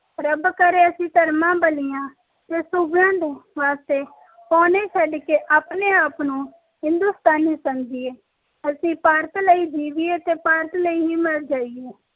ਰੱਬਾ ਕਰੇ ਅਸੀਂ ਕਰਮ ਬੱਲੀਆਂ ਤੇ ਸੂਬਿਆਂ ਦੇ ਵਾਸਤੇ ਪੌਣੇ ਛੱਡ ਕੇ ਆਪਣੇ ਆਪ ਨੂੰ ਹਿੰਦੁਸਤਾਨੀ ਸਮਝੀਏ ਅਸੀਂ ਭਾਰਤ ਲਈ ਹੀ ਜੀਵੀਏ ਤੇ ਭਾਰਤ ਲਈ ਹੀ ਮਰ ਜਾਈਏ